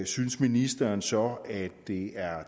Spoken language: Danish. synes ministeren så det er